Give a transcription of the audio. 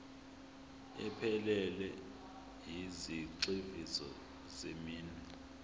ephelele yezigxivizo zeminwe